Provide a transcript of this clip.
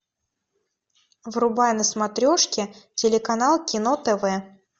врубай на смотрешке телеканал кино тв